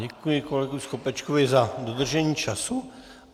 Děkuji kolegovi Skopečkovi za dodržení času.